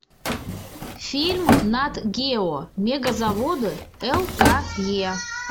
фильм нат гео мегазаводы л к е